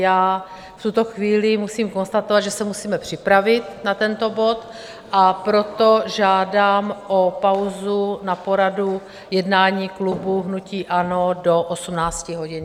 Já v tuto chvíli musím konstatovat, že se musíme připravit na tento bod, a proto žádám o pauzu na poradu jednání klubu hnutí ANO do 18 hodin.